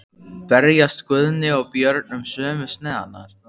Berjast Guðni og Björn um sömu sneiðarnar?